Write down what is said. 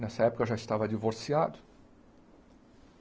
Nessa época eu já estava divorciado.